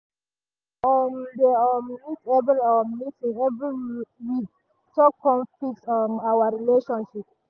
we go um dey um meet every um meet every week talk con fix um our relationship